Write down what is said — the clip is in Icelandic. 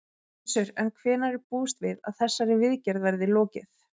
Gissur: En hvenær er búist við að þessari viðgerð verði lokið?